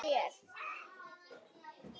Ekkert frekar en mér.